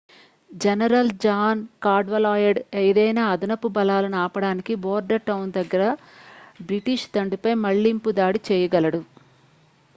general John Cadwalader ఏదైనా అదనపు బలాలను ఆపడానికి బోర్డర్టౌన్ దగ్గర బ్రిటిష్ దండుపై మళ్లింపు దాడి చేయగలడు